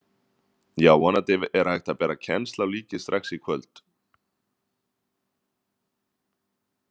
Já, vonandi er hægt að bera kennsl á líkið strax í kvöld.